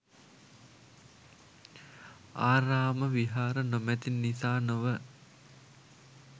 ආරාම විහාර නොමැති නිසා නොව